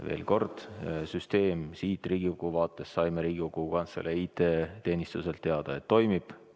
Veel kord: me saime Riigikogu Kantselei IT-teenistuselt teada, et süsteem Riigikogu vaates toimib.